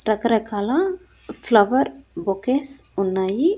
రకరకాల flower bouquets ఉన్నాయి.